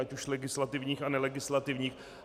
Ať už legislativních a nelegislativních.